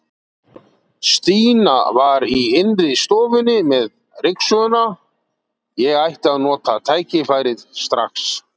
Stína var í innri stofunni með ryksuguna, ég ætti að nota tækifærið strax.